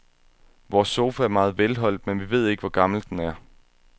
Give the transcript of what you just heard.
Vores sofa er meget velholdt, men vi ved ikke, hvor gammel den er.